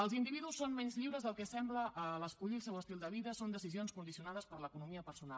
els individus són menys lliures del que sembla a l’escollir el seu estil de vida són decisions condicionades per l’economia personal